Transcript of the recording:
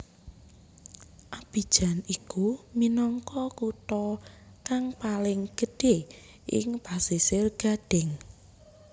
Abidjan iku minangka kutha kang paling gedhé ing Pasisir Gadhing